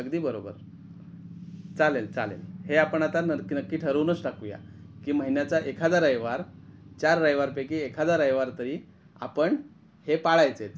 अगदी बरोबर चालेल चालेल हे आपण आता नक्की ठरवूनच टाकूया कि महिन्याचा एखादा रविवार चार रविवार पैकी एखादा रविवार तरी आपण हे पळायचेच.